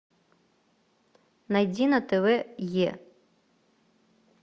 найди на тв е